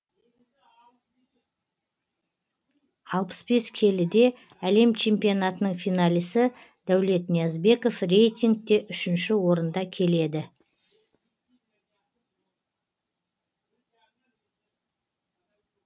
алпыс бес келіде әлем чемпионатының финалисі дәулет ниязбеков рейтингте үшінші орында келеді